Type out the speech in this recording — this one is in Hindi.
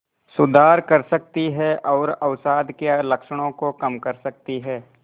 सुधार कर सकती है और अवसाद के लक्षणों को कम कर सकती है